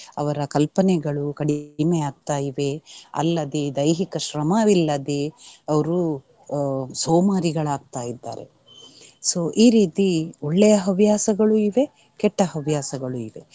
ಅವರ ಕಲ್ಪನೆಗಳು ಕಡಿಮೆಯಾಗ್ತಾ ಇವೆ, ಅಲ್ಲದೆ ದೈಹಿಕ ಶ್ರಮವಿಲ್ಲದೆ ಅವ್ರು ಅಹ್ ಸೋಮಾರಿಗಳಾಗ್ತ ಇದ್ದಾರೆ so ಈ ರೀತಿ ಒಳ್ಳೆಯ ಹವ್ಯಾಸಗಳೂ ಇವೆ ಕೆಟ್ಟ ಹವ್ಯಾಸಗಳೂ ಇವೆ.